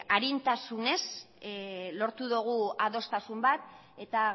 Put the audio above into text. arintasunek lortu dugu adostasun bat eta